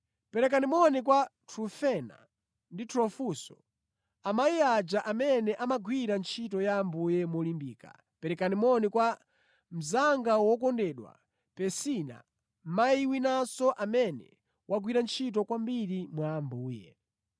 Perekani moni kwa Trufena ndi Trufosa, amayi aja amene amagwira ntchito ya Ambuye molimbika. Perekani moni kwa mnzanga wokondedwa Persida, mayi winanso amene wagwira ntchito kwambiri mwa Ambuye.